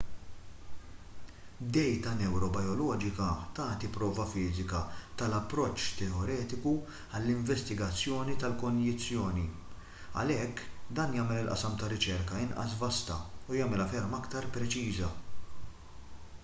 dejta newrobijoloġika tagħti prova fiżika tal-approċċ teoretiku għall-investigazzjoni tal-konjizzjoni għalhekk dan jagħmel il-qasam tar-riċerka inqas vasta u jagħmilha ferm iktar preċiża